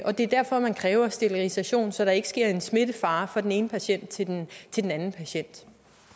det er derfor man kræver sterilisation så der ikke sker smitte fra fra den ene patient til den den anden patient